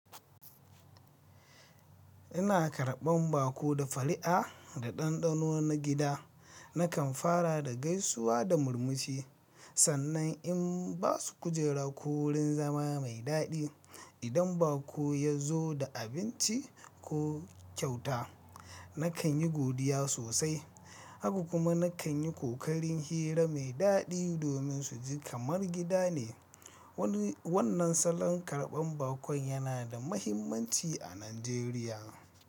Ina karɓan baƙo da fara'a da ɗanɗano na gida. Nakan fara da gaisuwa da murmushi, sannan in ba su kujera ko wurin zama mai daɗi. Idan baƙo ya zo da abinci ko kyauta, nakan yi godiya sosai. Haka kuma nakan yi ƙoƙarin hira mai daɗi domin su ji kamar gida ne. Wannan salon karɓan baƙon yana da mahimmanci a Najeriya.